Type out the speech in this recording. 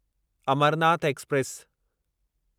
Amarnath express